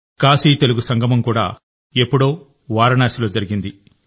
కాశీతెలుగు సంగమం కూడా ఎప్పుడో వారణాసిలో జరిగింది